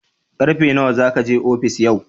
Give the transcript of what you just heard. Ƙarfe nawa za ka je ofis yau?